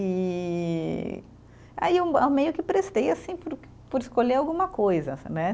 E aí eu ah, meio que prestei, assim, por por escolher alguma coisa, né?